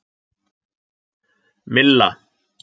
Milla